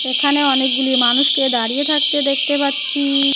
এখানে অনেকগুলি মানুষকে দাঁড়িয়ে থাকতে দেখতে পাচ্ছি।